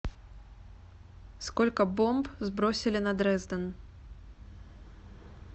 сколько бомб сбросили на дрезден